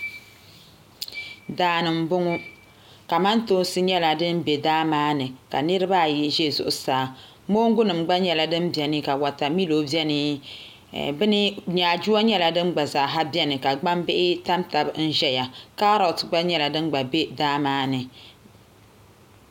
Daani n boŋo kamantoosi nyɛla din bɛ daa maa ni ka niraba ayi ʒɛ zuɣusaa mongu nim gba nyɛla din bɛ ni ka wotamilo biɛni nyaaduwa gba nyɛla din gba biɛni ka gbambihi tam tabi ʒɛya kaarot nyɛla din gba bɛ daa maa ni